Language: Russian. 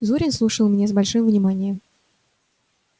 зурин слушал меня с большим вниманием